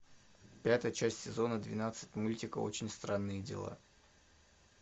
пятая часть сезона двенадцать мультика очень странные дела